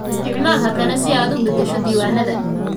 Isticmaal hakane si aad u beddesho diiwaanada.